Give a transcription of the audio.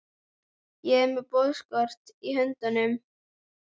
Ég er með boðskort í höndunum.